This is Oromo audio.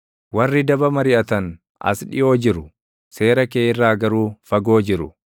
Warri daba mariʼatan as dhiʼoo jiru; seera kee irraa garuu fagoo jiru.